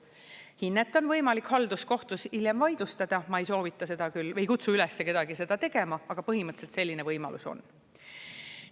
Hinnet on võimalik halduskohtus hiljem vaidlustada, ma ei soovita seda küll, ei kutsu ülesse kedagi seda tegema, aga põhimõtteliselt selline võimalus on.